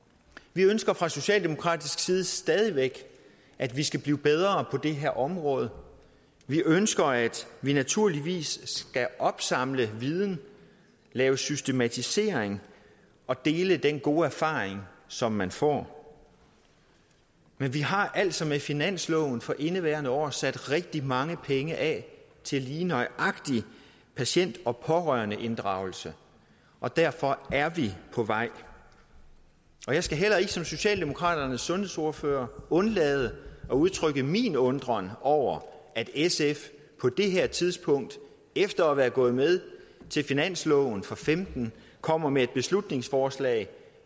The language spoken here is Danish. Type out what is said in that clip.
vi ønsker fra socialdemokratisk side stadig væk at vi skal blive bedre på det her område vi ønsker at vi naturligvis skal opsamle viden lave systematisering og dele den gode erfaring som man får men vi har altså med finansloven for indeværende år sat rigtig mange penge af til lige nøjagtig patient og pårørendeinddragelse og derfor er vi på vej jeg skal heller ikke som socialdemokraternes sundhedsordfører undlade at udtrykke min undren over at sf på det her tidspunkt efter at være gået med til finansloven for femten kommer med et beslutningsforslag